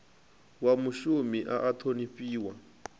wa mushumi a a ṱhonifhiwa